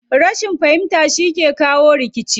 Rashin fahimta shi ke jawo rikici.